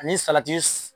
Ani salati